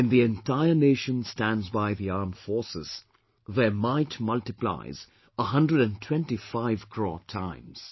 When the entire nation stands by the armed forces, their might mutiplies a hundred and twenty five crore times